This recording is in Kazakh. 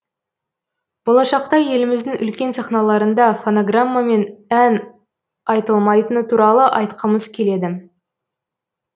болашақта еліміздің үлкен сахналарында фонограммамен ән айтылмайтыны туралы айтқымыз келеді